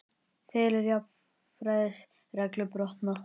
Telur jafnræðisreglu brotna